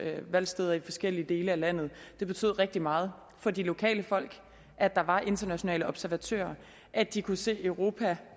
valgsteder i forskellige dele af landet rigtig meget for de lokale folk at der var internationale observatører at de kunne se at europa